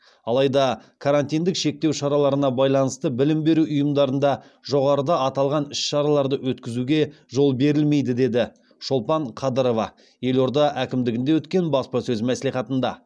алайда карантиндік шектеу шараларына байланысты білім беру ұйымдарында жоғарыда аталған іс шараларды өткізуге жол берілмейді деді шолпан қадырова елорда әкімдігінде өткен баспасөз мәслихатында